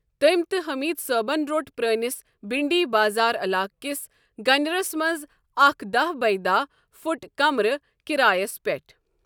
تٔمۍ تہٕ حمید صٲبن رۄٹ پرٲنِس بھنڈی بازار علاقس کِس گنِرس منٛز اکھ داہ بیہ داہ فُٹ کمرٕ کِرایس پٮ۪ٹھ۔